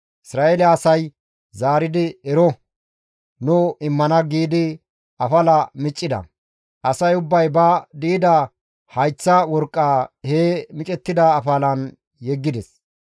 Isra7eele asay zaaridi, «Ero, nu immana» giidi afala miccida; asay ubbay ba di7ida hayththa worqqa he micettida afalan yeggides.